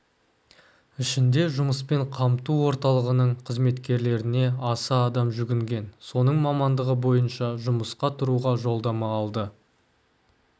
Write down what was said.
ішінде жұмыспен қамту орталығының қызметкерлеріне аса адам жүгінген соның мамандығы бойынша жұмысқа тұруға жолдама алды